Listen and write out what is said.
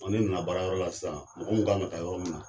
Ɔ O ne nana baara yɔrɔ la sisan mɔgɔ min kanka taa yɔrɔ min na